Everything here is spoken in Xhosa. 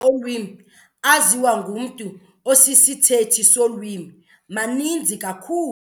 olwimi aziwa ngumntu osisithethi solwimi maninzi kakhulu.